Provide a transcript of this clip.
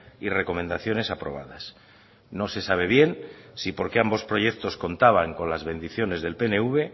y recomendaciones aprobadas no se sabe bien si porque ambos proyectos contaban con las bendiciones del pnv